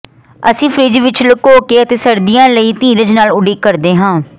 ਅਸੀਂ ਫਰਿੱਜ ਵਿਚ ਲੁਕੋ ਕੇ ਅਤੇ ਸਰਦੀਆਂ ਲਈ ਧੀਰਜ ਨਾਲ ਉਡੀਕ ਕਰਦੇ ਹਾਂ